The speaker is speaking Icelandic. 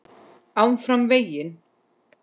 ÁFRAM VEGINN.